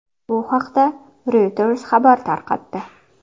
Bu haqda Reuters xabar tarqatdi.